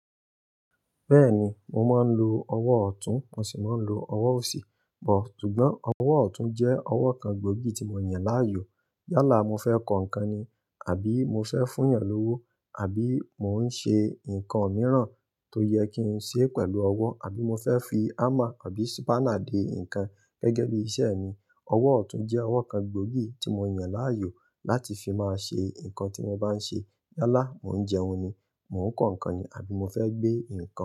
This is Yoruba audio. Bẹ́ẹ̀ni, mo máa ń lo ọwọ́ ọ̀tún, mo sì máa ń lo ọwọ́ òsì, but, sùgbọ́n, ọwọ́ ọ̀tún jẹ́ ọwọ́ kan gbòógì tí mo yàn láàyò. Yálà mo fẹ́ kọ ǹkan ni, àbí mo fẹ́ fún ènìyàn lówó, àbí mo ń ṣe ǹkan mìíràn tó jẹ kí n ṣe pẹ̀lú ọwọ́, àbí mo fẹ́ fi hammer àbí spanner dé ǹkan gẹ́gẹ́ bí iṣẹ́ mi, ọwọ́ ọ̀tún jẹ́ ọwọ́ kan gbòógì tí mo yàn láàyò láti fi máa ṣe ǹkan tí mo bá ń ṣe. Yálà mo ń jẹun ni, mo ń kọ ǹkan ni, àbí mo fẹ́ gbé ǹkan.